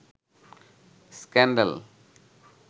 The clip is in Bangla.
স্ক্যান্ডাল